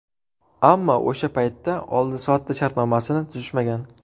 Ammo o‘sha paytda oldi-sotdi shartnomasini tuzishmagan.